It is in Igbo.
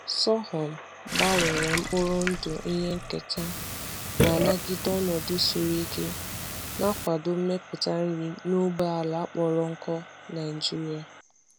Sorghum gbanwere mkpụrụ ndụ ihe nketa na-anagide ọnọdụ siri ike, na-akwado mmepụta nri n’ógbè ala kpọrọ nkụ Naijiria.